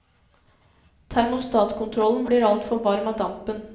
Termostatkontrollen blir altfor varm av dampen.